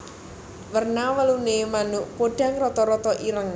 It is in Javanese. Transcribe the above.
Werna wuluné manuk podhang rata rata ireng